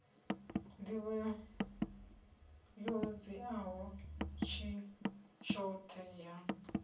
nḓivho yo dziaho tshoṱhe ya